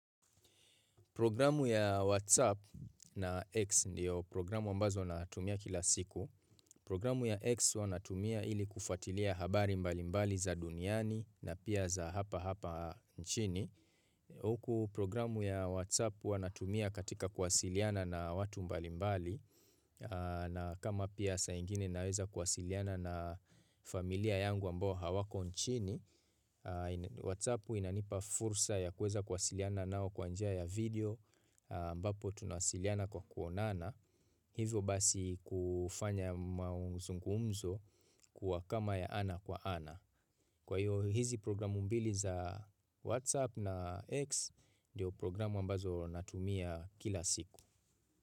Programu ya WhatsApp na X ndiyo programu ambazo natumia kila siku. Programu ya X wanatumia ilikufatilia habari mbali mbali za duniani na pia za hapa hapa nchini. Huku programu ya WhatsApp huwanatumia katika kwasiliana na watu mbali mbali na kama pia saa ingine naweza kwasiliana na familia yangu ambao hawako nchini. WhatsApp inanipa fursa ya kuweza kwasiliana nao kwanja ya video ambapo tunawasiliana kwa kuonana Hivyo basi kufanya mauzungumzo kuwa kama ya ana kwa ana Kwa hiyo hizi programu mbili za WhatsApp na X Ndiyo programu ambazo natumia kila siku.